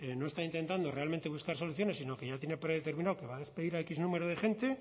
no está intentando realmente buscar soluciones sino que ya tiene predeterminado que va a despedir a x número de gente